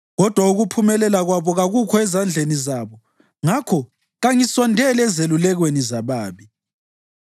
Kodwa ukuphumelela kwabo kakukho ezandleni zabo, ngakho kangisondeli ezelulekweni zababi.